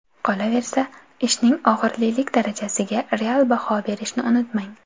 Qolaversa, ishning og‘irlilik darajasiga real baho berishni unutmang.